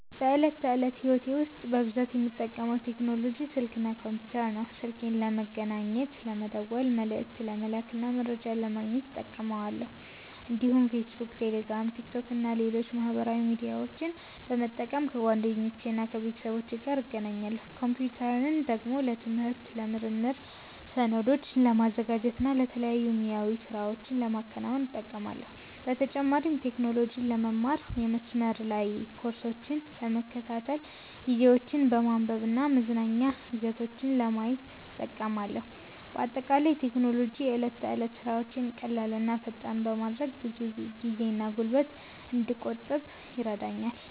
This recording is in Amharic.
በዕለት ተዕለት ሕይወቴ ውስጥ በብዛት የምጠቀመው ቴክኖሎጂ ስልክ እና ኮምፒተር ነው። ስልኬን ለመገናኘት፣ ለመደወል፣ መልዕክት ለመላክ እና መረጃ ለማግኘት እጠቀማለሁ። እንዲሁም ፌስቡክ፣ ቴሌግራም፣ ቲክቶክ እና ሌሎች ማህበራዊ ሚዲያዎችን በመጠቀም ከጓደኞቼና ከቤተሰቦቼ ጋር እገናኛለሁ። ኮምፒተርን ደግሞ ለትምህርት፣ ለምርምር፣ ሰነዶችን ለማዘጋጀት እና የተለያዩ ሙያዊ ሥራዎችን ለማከናወን እጠቀማለሁ። በተጨማሪም ቴክኖሎጂን ለመማር፣ የመስመር ላይ ኮርሶችን ለመከታተል፣ ዜናዎችን ለማንበብ እና መዝናኛ ይዘቶችን ለማየት እጠቀማለሁ። በአጠቃላይ ቴክኖሎጂ የዕለት ተዕለት ሥራዎቼን ቀላል እና ፈጣን በማድረግ ብዙ ጊዜና ጉልበት እንድቆጥብ ይረዳኛል።